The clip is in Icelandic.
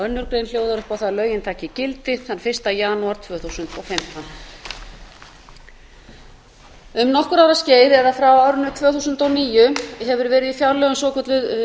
önnur grein hljóðar upp á það að lögin taki gildi þann fyrsta janúar tvö þúsund og fimmtán um nokkurra ára skeið eða frá árinu tvö þúsund og níu hefur verið í fjárlögum svokölluð